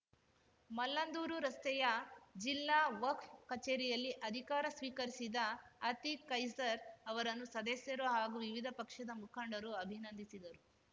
ಮಲ್ಲಂದೂರು ರಸ್ತೆಯ ಜಿಲ್ಲಾ ವಕ್ಫ್ ಕಚೇರಿಯಲ್ಲಿ ಅಧಿಕಾರ ಸ್ವೀಕರಿಸಿದ ಅತೀಕ್‌ ಕೈಸರ್‌ ಅವರನ್ನು ಸದಸ್ಯರು ಹಾಗೂ ವಿವಿಧ ಪಕ್ಷದ ಮುಖಂಡರು ಅಭಿನಂದಿಸಿದರು